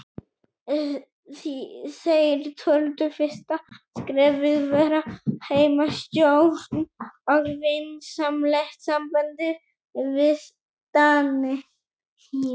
Þeir töldu fyrsta skrefið vera heimastjórn og vinsamlegt samband við Dani.